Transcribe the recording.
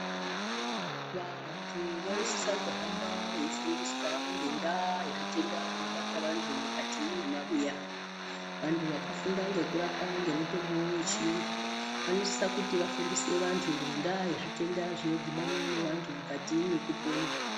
Vantu vanosisa kuhamba veifundiswa ngendaa yezvitenda zvinobata vantu mukati memabuya. Vantu vakafunda ngekurapa ngemitombo yechiyungu, vanosise kuti vafundise vantu ngendaa yezvitenda zvinodhibana nevantu mukati mwekupona.